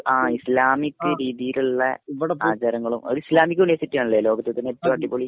ആ ഇസ്ലാമികരീതിയിലുള്ള ആചാരങ്ങളും ഇസ്ലാമിക യൂണിവേഴ്സിറ്റി ആണല്ലേ ലോകത്തിൽ തന്നേ ഏറ്റവും അടിപൊളി